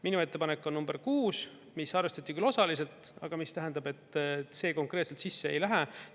Minu ettepanek on number 6, mis arvestati küll osaliselt, aga mis tähendab, et see konkreetselt sisse ei lähe.